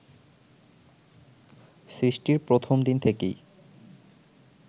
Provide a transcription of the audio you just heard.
সৃষ্টির প্রথম দিন থেকেই